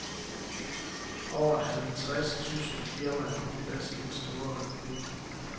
Over halvtreds tyske firmaer er på plads i den store republik.